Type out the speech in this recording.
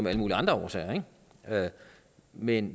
af alle mulige andre årsager men